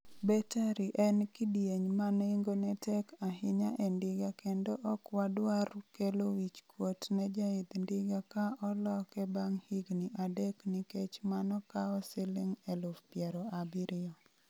Battery en kidieny ma nengone tek ahinya e ndiga kendo ok wadwar kelo wich kuot ne jaidh ndiga ka oloke bang' higini adek nikech mano kawo Sh70,000.